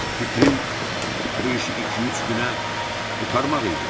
Fikrim bu işi iki-üç günə qurtarmaq idi.